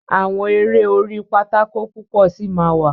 Àwọn eré orí pátákó púpọ sí má wá.